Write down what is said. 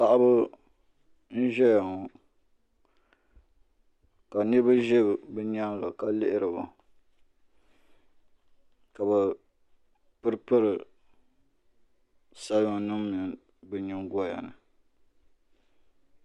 Paɣaba n ʒɛya ŋɔ ka niraba ʒɛ bi nyaanga ka lihiri ba ka bi piri piri salima nim bi nyingoya ni